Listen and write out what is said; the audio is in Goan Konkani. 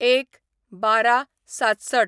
०१/१२/६७